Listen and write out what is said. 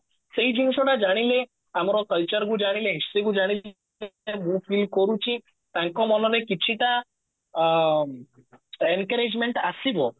ସେଇ ଜିନିଷ କୁ ଜାଣିଲେ ଆମର culture କୁ ଜାଣିଲେ history କୁ ଜାଣିଲେ ମୁଁ feel କରୁଛି ତାଙ୍କ ମନରେ କିଛି ଟା ଅ encouragement ଆସିବ